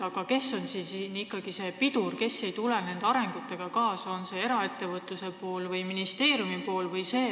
Aga kes on siin ikkagi see pidur, kes ei tule nende arengutega kaasa – on see eraettevõtluse või ministeeriumi pool?